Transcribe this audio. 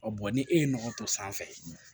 ni e ye nɔgɔ to sanfɛ